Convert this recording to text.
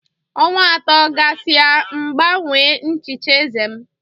Ọnwa atọ gasịa M gbanwee nchicha eze m.